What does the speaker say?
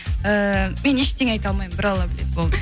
ыыы мен ештене айта алмаймын бір алла біледі болды